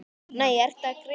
Nei, ertu að grínast?